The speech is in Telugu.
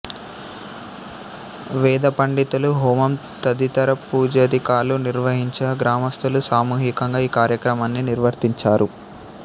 వేదపండితులు హోమం తదితర పూజాదికాలు నిర్వహించగా గ్రామస్థులు సామూహికంగా ఈ కార్యక్రమాన్ని నిర్వర్తించారు